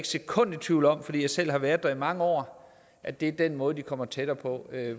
sekund i tvivl om fordi jeg selv har været der i mange år at det er den måde de kommer tættere på